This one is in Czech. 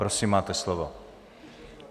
Prosím, máte slovo.